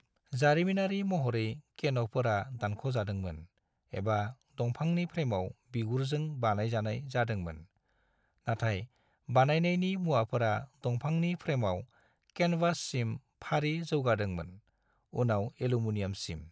जारिमिनारि महरै, केन'फोरा दानख'जादोंमोन एबा दंफांनि फ्रेमाव बिगुरजों बानायजानाय जादोंमोन, नाथाय बानायनायनि मुवाफोरा दंफांनि फ्रेमाव केनवाससिम फारि जौगादोंमोन, उनाव एल्यूमीनियामसिम।